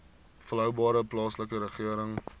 volhoubare plaaslike regering